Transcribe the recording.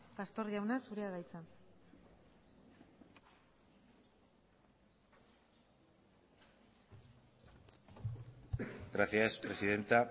pastor jauna zurea da hitza gracias presidenta